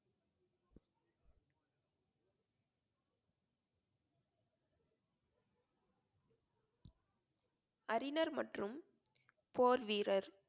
அறிஞர் மற்றும் போர் வீரர்.